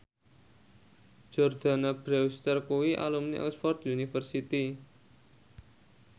Jordana Brewster kuwi alumni Oxford university